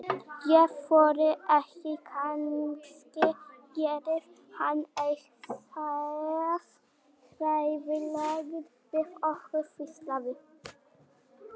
Ég þori ekki, kannski gerir hann eitthvað hræðilegt við okkur. hvíslaði